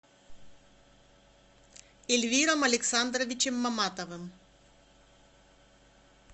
ильвиром александровичем маматовым